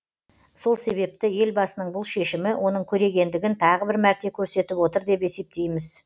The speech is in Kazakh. сол себепті елбасының бұл шешімі оның көрегендігін тағы бір мәрте көрсетіп отыр деп есептейміз